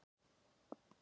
Svo slær í bakseglin.